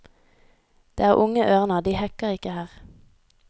Det er unge ørner, de hekker ikke her.